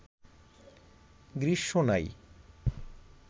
গ্রীস্ম নাই